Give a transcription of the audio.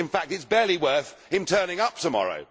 In fact it is barely worth him turning up tomorrow.